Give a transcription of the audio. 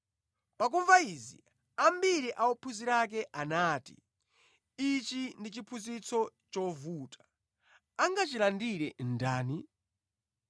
Pakumva izi ambiri a ophunzira ake anati, “Ichi ndi chiphunzitso chovuta. Angachilandire ndani?”